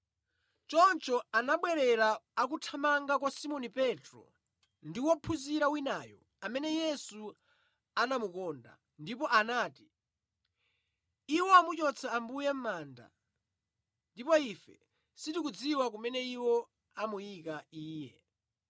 Choncho anabwerera akuthamanga kwa Simoni Petro ndi wophunzira winayo, amene Yesu anamukonda, ndipo anati, “Iwo amuchotsa Ambuye mʼmanda, ndipo ife sitikudziwa kumene iwo amuyika Iye!”